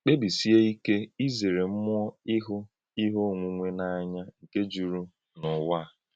Kpébísíé ìké ízèrè mmúọ́ íhù íhè onwunwè n’ànýà nke jùrù n’ụ̀wà a.